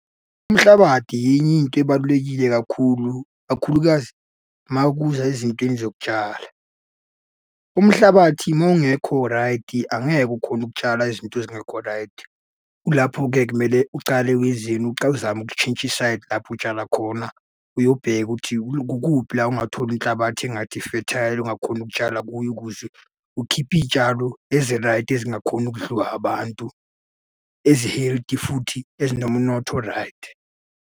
Umhlabadi enye into ebalulekile kakhulu, kakhulukazi uma kuza ezintweni zokutshala. Umhlabathi uma ungekho raydi angeke ukhone ukutshala izinto ezingekho raydi. Kulapho-ke kumele ucale wenzeni, ucale uzame ukutshintsha isayidi lapho utshala khona. Uyobheka ukuthi kukuphi la ongathola inhlabathi engathi i-fertile, ungakhona ukutshala kuyo ukuze ukhiphe iy'tshalo eziraydi ezingakhona ukudliwa abantu, ezi-healthy, futhi ezinomnotho oraydi.